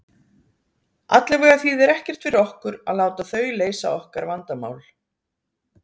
Allavega þýðir ekkert fyrir okkur að láta þau leysa okkar vandamál.